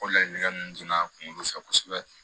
O laɲinikɛ ninnu donna kungolo fɛ kosɛbɛ